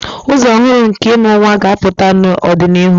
Ụzọ ọhụrụ nke ịmụ nwa ga-apụta n'ọdịnihu.